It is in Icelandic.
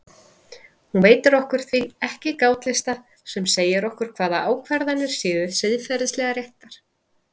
Hún veitir okkur því ekki gátlista sem segja okkur hvaða ákvarðanir séu siðferðilega réttar.